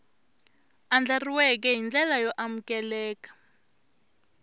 andlariweke hi ndlela yo amukeleka